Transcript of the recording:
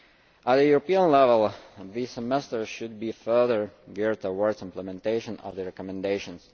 At European level, the Semester should be further geared towards implementation of the recommendations.